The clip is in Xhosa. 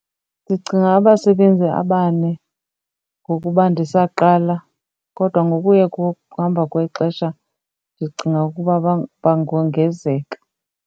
Ndicinga abasebenzi abane ngokuba ndisaqala kodwa ngokuye kuhamba kwexesha ndicinga ukuba bangongenzeka.